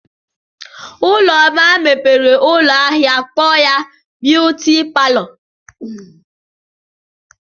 Ụlụmma mepere ụlọ ahịa kpọọ ya "Beauty Parlor".